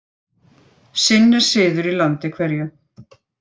Sinn er siður í landi hverju.